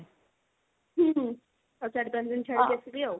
ହୁଁ ହୁଁ ଆଉ ଚାରି ପାଞ୍ଚ ଦିନ ଛାଡିକି ଆସିବି ଆଉ।